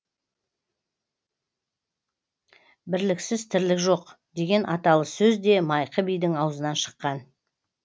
бірліксіз тірлік жоқ деген аталы сөз де майқы бидің аузынан шыққан